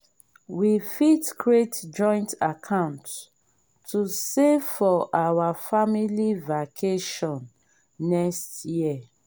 we fit create joint account to save for our family vacation next year.